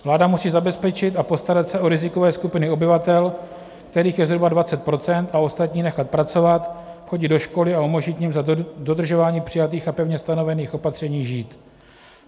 Vláda musí zabezpečit a postarat se o rizikové skupiny obyvatel, kterých je zhruba 20 %, a ostatní nechat pracovat, chodit do školy a umožnit jim za dodržování přijatých a pevně stanovených opatření žít.